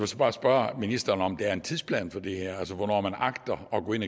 så bare spørge ministeren om der er en tidsplan for det her altså hvornår man agter at gå ind